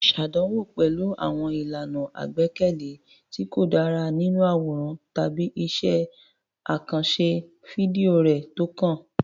Ṣàdánwò pẹ̀lú àwọn ìlànà àgbékalẹ̀ tí kò dára nínú àwòrán tàbí iṣẹ́ àkànṣe fídíò rẹ tó kàn.